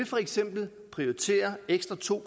for eksempel prioriteret ekstra to